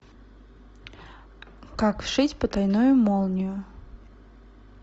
как вшить потайную молнию